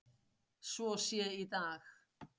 svo sé í dag.